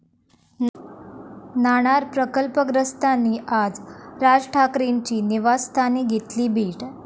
नाणार प्रकल्पग्रस्तांनी आज राज ठाकरेंची निवासस्थानी घेतली भेट